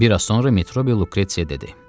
Bir az sonra Metrobi Lukretsiyə dedi.